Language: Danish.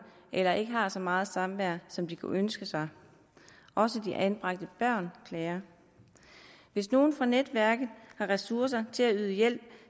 eller ikke har så meget samvær som de kunne ønske sig også de anbragte børn klager hvis nogen fra netværket har ressourcer til at yde hjælp